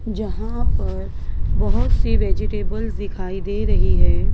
जहां पर बहुत सी वेजिटेबल्स दिखाई दे रही है।